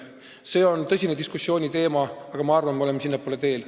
See on tõsise diskussiooni teema, aga ma arvan, et me oleme sinnapoole teel.